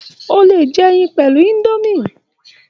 O lè jẹ ẹyin pẹ̀lú indomie